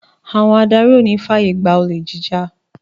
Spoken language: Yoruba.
Àwọn adarí ò ní fàyègbà olè jíjà